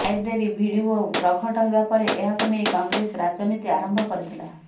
library video ପ୍ରଘଟ ହେବା ପରେ ଏହାକୁ ନେଇ କଂଗ୍ରେସ ରାଜନୀତି ଆରମ୍ଭ କରିଥିଲା